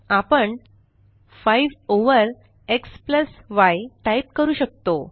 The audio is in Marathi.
आपण 5 ओव्हर एक्स य टाइप करू शकतो